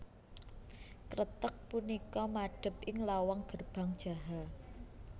Kreteg punika madep ing lawang Gerbang Jaha